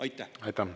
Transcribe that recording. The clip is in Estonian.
Aitäh!